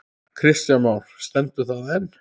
Kristján Már: Stendur það enn?